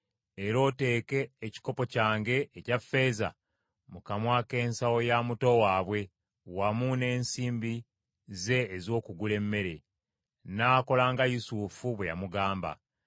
Era oteeke ekikopo kyange, ekya ffeeza, mu kamwa k’ensawo ya muto waabwe, wamu n’ensimbi ze ez’okugula emmere.” N’akola nga Yusufu bwe yamugamba.